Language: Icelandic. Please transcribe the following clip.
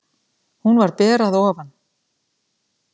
Hún var ber að ofan.